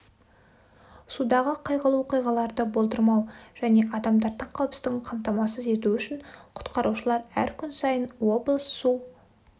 судағы қайғылы оқиғаларды болдырмау және адамдардың қауіпсіздігін қамтамасыз ету үшін құтқарушылар әр күн сайын облыс су